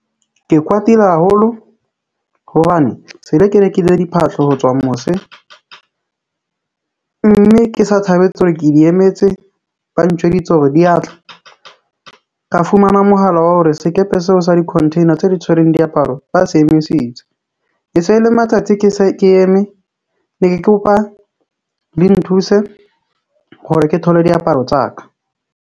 Ke kwatile haholo hobane se le ke rekile diphahlo ho tswa mose mme ke sa thabetse hore ke di emetse. Ba ntjweditse hore di ya tla ka fumana mohala wa hore sekepe seo sa di-containers tse di tshwereng diaparo ba se emisitse. E e se le matsatsi, ke se ke eme, ne ke kopa le nthuse hore ke thole diaparo tsa ka.